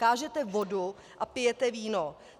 Kážete vodu, a pijete víno.